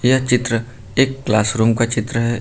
यह चित्र एक क्लास रूम का चित्र है।